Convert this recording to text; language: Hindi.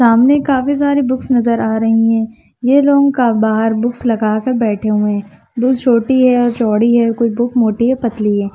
सामने काफी सारे बुक्स नज़र आ रही है ये लोग का बाहर बुक्स लगा कर बैठे हुए है छोटी है चौड़ी है कोई बुक है पतली है।